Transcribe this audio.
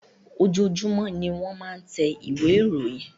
Ojoojumọ ní wọ́n máa ń tẹ ìwé ìròyìn.